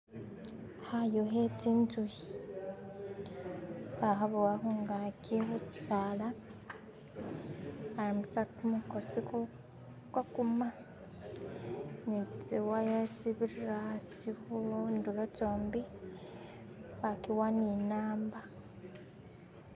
hayu hetsinzuhi bahabowa hungaki hushisaala barambisa kumukosi ku kwakuma nitsiwaya tsibirira asi hunduro tsombi bakiwa ninamba